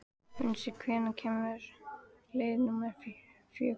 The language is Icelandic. Unnsi, hvenær kemur leið númer fjögur?